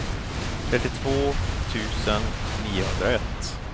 trettiotvå tusen niohundraett